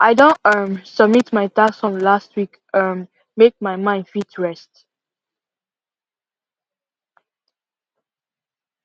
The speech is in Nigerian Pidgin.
i don um submit my tax forms last week um make my mind fit rest